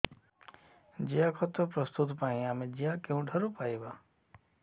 ଜିଆଖତ ପ୍ରସ୍ତୁତ ପାଇଁ ଆମେ ଜିଆ କେଉଁଠାରୁ ପାଈବା